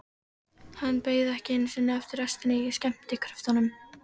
Hann beið ekki einu sinni eftir restinni af skemmtikröftunum.